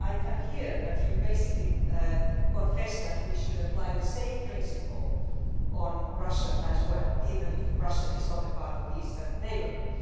and I can hear, Commissioner, that you basically concede that we should apply the same principle to Russia as well, even if Russia is not a part of the Eastern Neighbourhood.